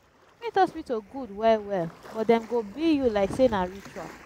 private hospital gud wel wel but dem go bill yu lyk sey na ritual